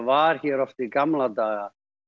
var hér oft í gamla daga